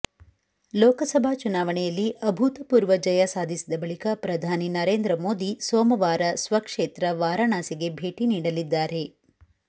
ಲೋಕಸಭಾ ಚುನಾವಣೆಯಲ್ಲಿ ಅಭೂತಪೂರ್ವ ಜಯ ಸಾಧಿಸಿದ ಬಳಿಕ ಪ್ರಧಾನಿ ನರೇಂದ್ರ ಮೋದಿ ಸೋಮವಾರ ಸ್ವಕ್ಷೇತ್ರ ವಾರಾಣಸಿಗೆ ಭೇಟಿ ನೀಡಲಿದ್ದಾರೆ